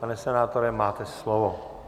Pane senátore, máte slovo.